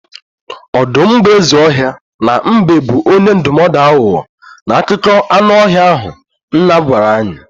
Ọdụm bụ eze ọhịa na mbe bụ onye ndụmọdụ aghụghọ n'akụkọ anụ ọhịa ahụ nna gwara anyị.